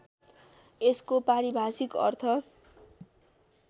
यसको पारिभाषिक अर्थ